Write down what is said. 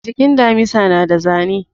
Jikin damisa na da zane